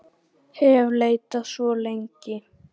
hef leitað svo lengi.